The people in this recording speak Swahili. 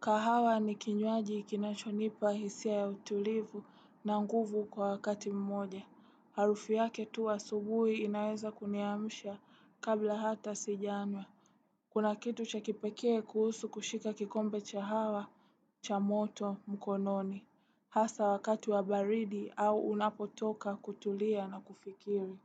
Kahawa ni kinywaji kinacho nipa hisia ya utulivu na nguvu kwa wakati mmoja. Harufu yake tu asubuhi inaweza kuniamisha kabla hata sijanywa. Kuna kitu cha kipekee kuhusu kushika kikombe cha hawa, cha moto, mkononi. Hasa wakati wa baridi au unapotoka kutulia na kufikiri.